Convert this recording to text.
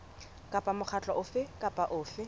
kapa mokgatlo ofe kapa ofe